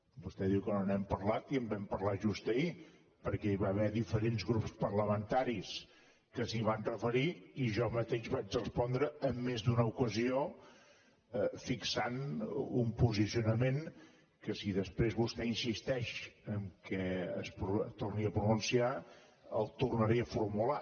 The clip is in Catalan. vostè diu que no n’hem parlat i en vam parlar just ahir perquè hi va haver diferents grups parlamentaris que s’hi van referir i jo mateix vaig respondre en més d’una ocasió fixant un posicionament que si després vostè insisteix que torni a pronunciar el tornaré a formular